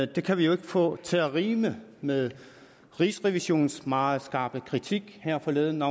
det kan vi jo ikke få til at rime med rigsrevisionens meget skarpe kritik her forleden